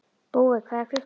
Búi, hvað er klukkan?